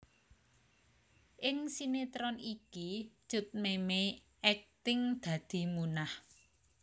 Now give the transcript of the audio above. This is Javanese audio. Ing sinetron iki Cut Memey akting dadi Munah